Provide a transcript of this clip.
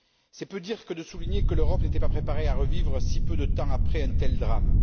C'est peu dire que de souligner que l'Europe n'était pas préparée à revivre, si peu de temps après, un tel drame.